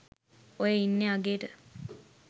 ඔය ඉන්නේ අගේට